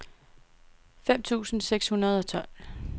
fem tusind seks hundrede og tolv